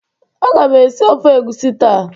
Agam esi ofe egusi ta